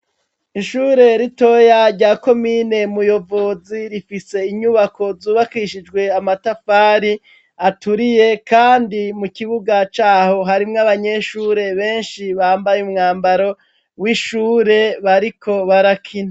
ishure ritoya rya komine Muyovozi rifise inyubako zubakishijwe amatafari aturiye kandi mu kibuga caho harimwo abanyeshure benshi bambaye umwambaro w'ishure bariko barakina.